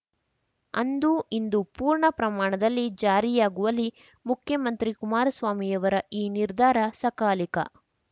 ಅದು ಇಂದು ಪೂರ್ಣ ಪ್ರಮಾಣದಲ್ಲಿ ಜಾರಿಯಾಗುವಲ್ಲಿ ಮುಖ್ಯಮಂತ್ರಿ ಕುಮಾರ ಸ್ವಾಮಿಯವರ ಈ ನಿರ್ಧಾರ ಸಕಾಲಿಕ